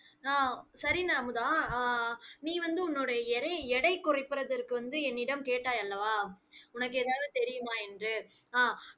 அஹ் சரிங்க, அமுதா. அஹ் அஹ் நீ வந்து உன்னுடைய எடையை எடை குறைப்பதற்கு வந்து என்னிடம் கேட்டாய் அல்லவா உனக்கு ஏதாவது தெரியுமாயென்று அஹ்